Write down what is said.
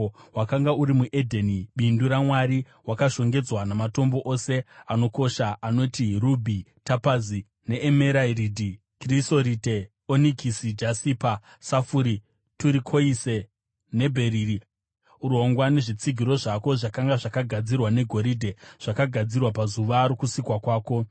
Wakanga uri muEdheni, bindu raMwari; wakashongedzwa namatombo ose anokosha anoti: rubhi, tapazi neemeradhi, krisorite, onikisi, jasipa, safuri, turikoise nebheriri. Urongwa nezvitsigiro zvako zvakanga zvakagadzirwa negoridhe; zvakagadzirwa pazuva rokusikwa kwako.